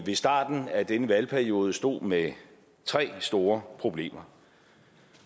ved starten af denne valgperiode stod med tre store problemer